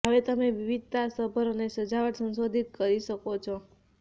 હવે તમે વિવિધતાસભર અને સજાવટ સંશોધિત કરી શકો છો